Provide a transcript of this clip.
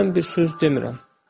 Mən bir söz demirəm.